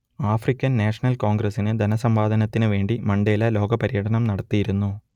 African national കോൺഗ്രസ്സിന് ധനസമ്പാദനത്തിനു വേണ്ടി മണ്ടേല ലോകപര്യടനം നടത്തിയിരുന്നു